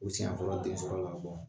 U siɲɛ fɔlɔ den muso ko